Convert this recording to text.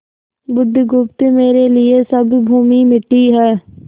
बुधगुप्त मेरे लिए सब भूमि मिट्टी है